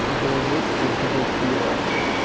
вологодского педофила